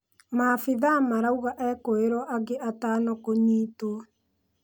Maabithaa marauga ekũirwo angĩ atano kũnyitwo.